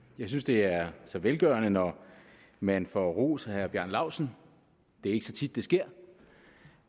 jeg synes det er så velgørende når man får ros af herre bjarne laustsen det er ikke så tit det sker